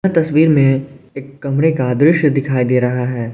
तस्वीर में एक कमरे का दृश्य दिखाई दे रहा है।